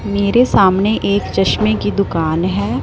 मेरे सामने एक चश्मे की दुकान है।